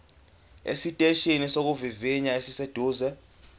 esiteshini sokuvivinya esiseduze